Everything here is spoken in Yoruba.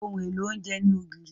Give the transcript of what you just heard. Ohun èlò oúnjẹ ní ògìrì.